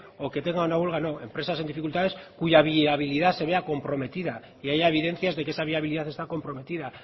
o que tenga una huelga no empresas en dificultades cuya viabilidad se vea comprometida y haya evidencias de que esa viabilidad está comprometida